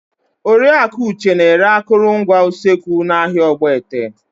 Oriaku Uche na-ere akụrụngwa usekwu n'ahịa Ogbete.